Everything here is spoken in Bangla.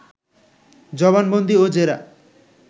জবানবন্দি ও জেরা